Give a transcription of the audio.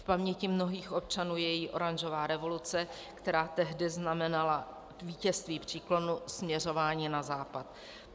V paměti mnohých občanů je její oranžová revoluce, která tehdy znamenala vítězství příklonu směřování na Západ.